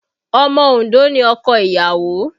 Omo Ondo ni ọkọ ìyàwó